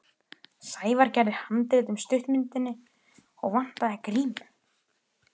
Sævar gerði handrit að stuttmyndinni og vantaði grímu.